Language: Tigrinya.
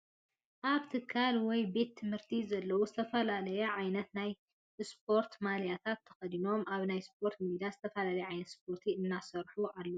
ኣብ ትካል ወይ ቤት ትምህርቲ ዘለዉ ዝተፈላለያ ዓይነት ናይ ስፕርት ማልያታት ተኸዲኖም ኣብቲ ናይ ስፖርት ሜዳ ዝተፈላለየ ዓይነት ስፖርት እናሰርሑ ኣለዉ፡፡